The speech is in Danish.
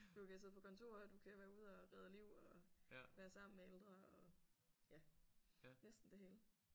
Du kan sidde på kontor og du kan være ude og redde liv og være sammen med ældre og ja næsten det hele